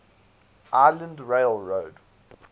island rail road